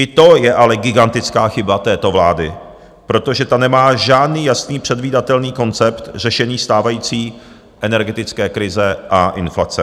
I to je ale gigantická chyba této vlády, protože ta nemá žádný jasný, předvídatelný koncept řešení stávající energetické krize a inflace.